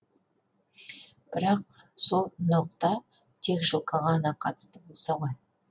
бірақ сол ноқта тек жылқыға ғана қатысты болса ғой